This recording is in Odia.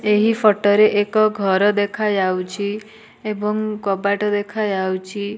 ଏହି ଫଟ ରେ ଏକ ଘର ଦେଖାଯାଉଛି ଏବଂ କଵାଟ ଦେଖାଯାଉଛି।